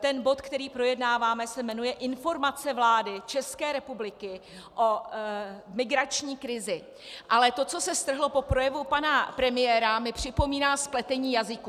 Ten bod, který projednáváme, se jmenuje Informace vlády České republiky o migrační krizi, ale to, co se strhlo po projevu pana premiéra, mi připomíná spletení jazyků.